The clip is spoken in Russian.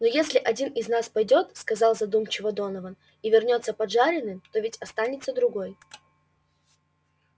но если один из нас пойдёт сказал задумчиво донован и вернётся поджаренным то ведь останется другой